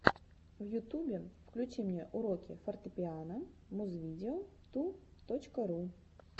в ютубе включи мне уроки фортепиано музвидео ту точка ру